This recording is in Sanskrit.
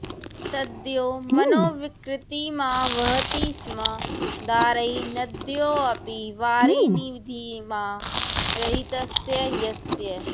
सद्यो मनोविकृतिमावहति स्म दारैः नद्योऽपि वारिनिधिमा रहितस्य यस्य